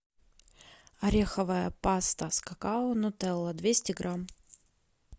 ореховая паста с какао нутелла двести грамм